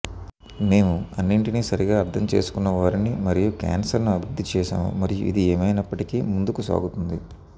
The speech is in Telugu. మేము అన్నింటినీ సరిగా అర్థం చేసుకున్నవారిని మరియు క్యాన్సర్ను అభివృద్ధి చేశాము మరియు ఇది ఏమైనప్పటికీ ముందుకు సాగుతుంది